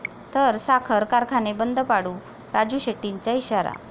...तर साखर कारखाने बंद पाडू, राजू शेट्टींचा इशारा